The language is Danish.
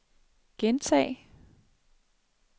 gentag